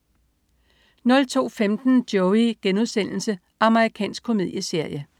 02.15 Joey.* Amerikansk komedieserie